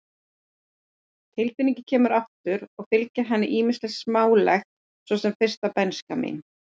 Tilfinningin kemur aftur og fylgir henni ýmislegt smálegt, svo sem fyrsta bernska mín.